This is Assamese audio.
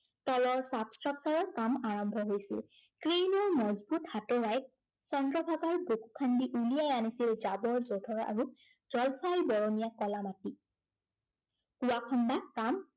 তলৰ চাফ চফাইৰ কাম আৰম্ভ হৈছিল। crane ৰ মজবুত হাতোৰাই চন্দ্ৰভাগাৰ বুকু খান্দি উলিয়াই আনিছিল, জাৱৰ যোঁথৰ আৰু জলফাই বৰণীয়া কলা মাটি। ইয়াক খন্দা কাম